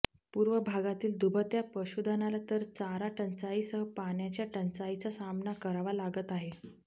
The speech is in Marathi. पूर्व भागातील दुभत्या पशुधनाला तर चारा टंचाईसह पाण्याच्या टंचाईचा सामना करावा लागत आहे